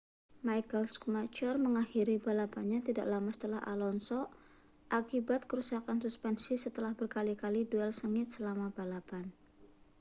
michael schumacher mengakhiri balapannya tidak lama setelah alonso akibat kerusakan suspensi setelah berkali-kali duel sengit selama balapan